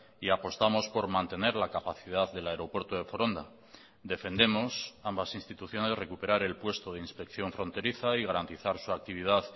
y apostamos por mantener la capacidad del aeropuerto de foronda defendemos ambas instituciones recuperar el puesto de inspección fronteriza y garantizar su actividad